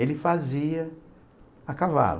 Ele fazia a cavalo.